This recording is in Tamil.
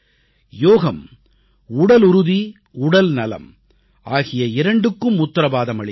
யோகம் உடலுறுதி உடல்நலம் ஆகிய இரண்டுக்கும் உத்தரவாதம் அளிக்கிறது